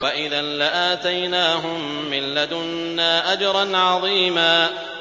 وَإِذًا لَّآتَيْنَاهُم مِّن لَّدُنَّا أَجْرًا عَظِيمًا